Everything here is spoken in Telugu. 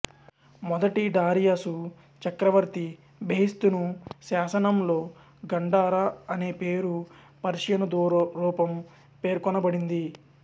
మొదటి డారియసు చక్రవర్తి బెహిస్తును శాసనంలో గండారా అనే పేరు పర్షియను రూపం పేర్క్నబడింది